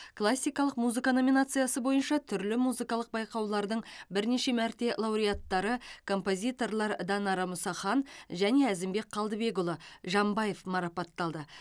классикалық музыка номинациясы бойынша түрлі музыкалық байқаулардың бірнеше мәрте лауреаттары композиторлар данара мұсахан және әзімбек қалдыбекұлы жамбаев марапатталды